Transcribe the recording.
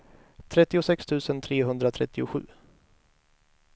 trettiosex tusen trehundratrettiosju